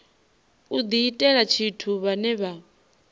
u diitela tshithu vhane vha